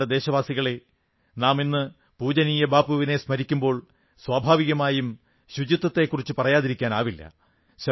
പ്രിയപ്പെട്ട ദേശവാസികളേ ഇന്ന് നാം പൂജനീയ ബാപ്പുവിനെ സ്മരിക്കുമ്പോൾ സ്വാഭാവികമായും സ്വച്ഛതയെക്കുറിച്ച് പറയാതിരിക്കാനാവില്ല